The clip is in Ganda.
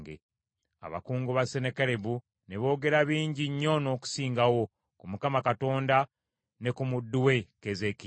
Abakungu ba Sennakeribu ne boogera bingi nnyo n’okusingawo ku Mukama Katonda ne ku muddu we Keezeekiya.